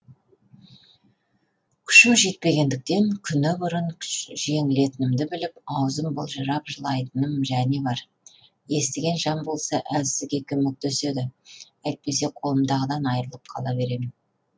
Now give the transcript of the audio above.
күшім жетпегендіктен күні бұрын жеңілетінімді біліп аузым былжырап жылайтыным және бар естіген жан болса әлсізге көмектеседі әйтпесе қолымдағыдан айрылып қала беремін